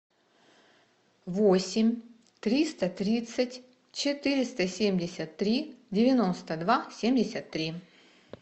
восемь триста тридцать четыреста семьдесят три девяносто два семьдесят три